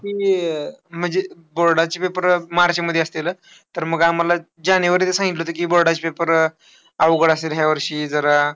ते अह म्हणजे board चे papers मार्चमध्ये असते ना. तर मग आम्हाला जानेवारीमध्ये सांगितलं होतं की board चे papers अवघड असेल ह्यावर्षी. जरा